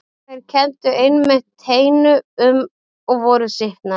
Þeir kenndu einmitt teinu um og voru sýknaðir.